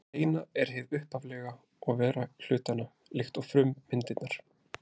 Hið eina er hið upphaflega og vera hlutanna, líkt og frummyndirnar.